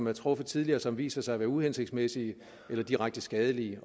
er truffet tidligere som viser sig at være uhensigtsmæssige eller direkte skadelige